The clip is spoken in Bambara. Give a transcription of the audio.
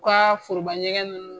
Ka foroba ɲɛgɛn minnu